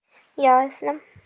ясно